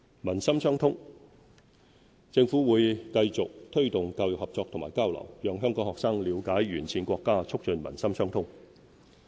民心相通政府會繼續推動教育合作和交流，讓香港學生了解沿線國家，促進民心相通。